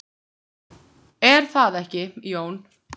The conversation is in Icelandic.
Það gerðist hins vegar.